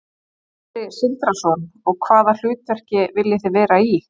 Sindri Sindrason: Og hvaða hlutverki viljið þið vera í?